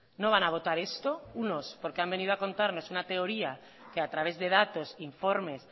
no van a votar esto unos porque han venido a contarnos una teoría que a través de datos informes